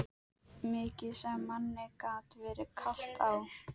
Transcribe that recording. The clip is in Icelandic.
Mikið sem manni gat verið kalt á